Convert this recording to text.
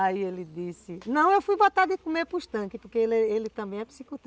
Aí ele disse... Não, eu fui botar de comer para os tanques, porque ele ele também é psico